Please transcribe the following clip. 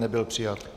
Nebyl přijat.